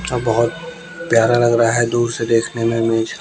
अ बहोत प्यारा लग रहा है दूर से देखने में नीच--